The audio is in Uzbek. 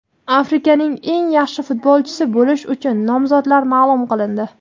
Afrikaning eng yaxshi futbolchisi bo‘lish uchun nomzodlar ma’lum qilindi.